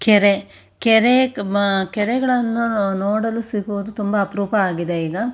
ಕೆರೆ ಕೆರೆ ಮ ಕೆರೆಗಳನ್ನು ನೋಡಲು ಸಿಗುವುದು ತುಂಬಾ ಅಪರೂಪವಾಗಿದೆ. ಈಗ --